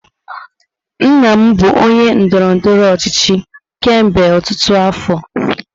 Nna m bụ onye ndọrọ ndọrọ ọchịchị kemgbe ọtụtụ afọ.